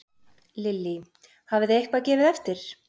Lillý: Hafið þið eitthvað gefið eftir?